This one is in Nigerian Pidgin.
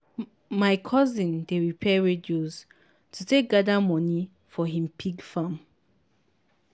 my cousin dey repair radios to take gather money for him pig farm.